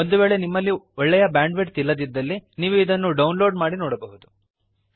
ಒಂದು ವೇಳೆ ನಿಮ್ಮಲ್ಲಿ ಒಳ್ಳೆಯ ಬ್ಯಾಂಡ್ ವಿಡ್ತ್ ಇಲ್ಲದಿದ್ದಲ್ಲಿ ನೀವು ಡೌನ್ ಲೋಡ್ ಮಾಡಿ ನೋಡಬಹುದು